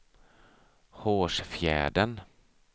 Hårsfjärden